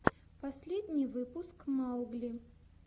последний выпуск маугли